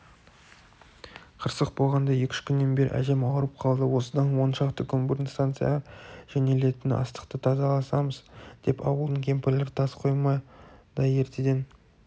қырсық болғанда екі-үш күннен бері әжем ауырып қалды осыдан он шақты күн бұрын станцияға жөнелтілетін астықты тазаласамыз деп ауылдың кемпірлері тас қоймада ертеден